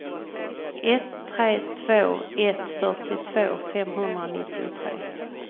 ett tre två ett fyrtiotvå femhundranittiotre